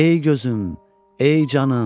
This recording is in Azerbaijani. Ey gözüm, ey canım.